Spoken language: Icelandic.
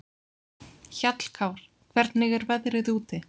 Hjallkár, hvernig er veðrið úti?